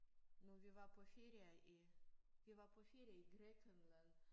Nu vi var på ferie i vi var på ferie i Grækenland